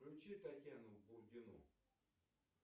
включи татьяну бурдину